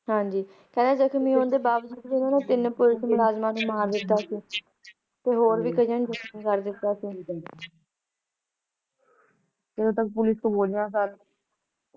ਹਾਂਜੀ ਤੇ ਜਖਮੀ ਹੋਣ ਦੇ ਬਾਵਜੂਦ ਵੀ ਓਹਨਾਂ ਨੇ ਤਿੰਨ ਪੁਲਿਸ ਮੁਲਾਜ਼ਮਾਂ ਨੂੰ ਮਾਰ ਦਿੱਤਾ ਸੀ ਤੇ ਹੋਰ ਵੀ ਕਯੀਆਂ ਨੂੰ ਜ਼ਖਮੀ ਕਰ ਦਿੱਤਾ ਸੀ ਜਦੋਂ ਤਕ ਪੁਲਿਸ ਤੋਂ ਗੋਲੀਆਂ ਖਾ ਕੇ